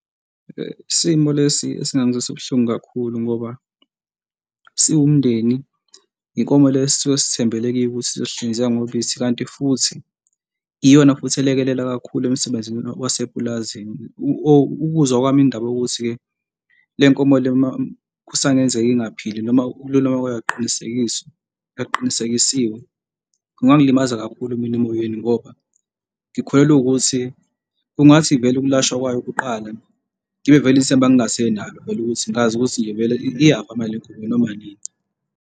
Isimo lesi esingangizwisa ubuhlungu kakhulu ngoba siwumndeni inkomo le esisuke sithembele kiyo ukuthi sizohlinzeka ngobisi kanti futhi iyona futhi elekelela kakhulu emsebenzini wasepulazini ukuzwa kwami indaba yokuthi-ke le nkomo le uma kusangenzeka ingaphili noma ukululama kwayo akuqinisekisi okuqinisekisiwe, kungangilimaza kakhulu mina emoyeni ngoba ngikholelwa ukuthi kungathi vele ukulashwa kwayo kuqala ngibe vele ithemba ngingasenalo, vele ukuthi ngazi ukuthi nje vele iyafa le nkomo noma inini.